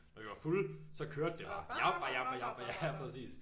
Når vi var fulde så kørte den bare japper japper japper ja præcis